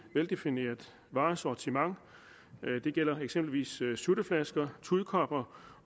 veldefineret varesortiment det gælder eksempelvis sutteflasker tudkopper